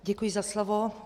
Děkuji za slovo.